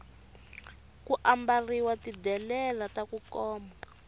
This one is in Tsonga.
ku ambarhiwa ti delela taku koma